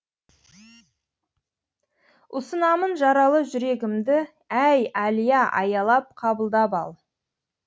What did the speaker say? ұсынамын жаралы жүрегімді әй әлия аялап қабылдап ал